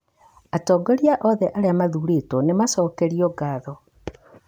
Atongoria othe arĩa mathurĩtwo nĩ maacokeirio ngatho.